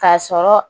K'a sɔrɔ